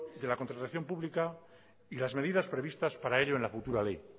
de la contratación pública y las medidas previstas para ello en la futura ley